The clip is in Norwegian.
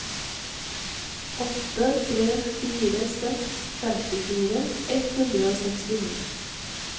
åtte tre fire seks femtifire ett hundre og sekstini